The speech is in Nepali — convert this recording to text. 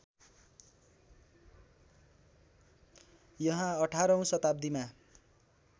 यहाँ अठारौँ शताब्दीमा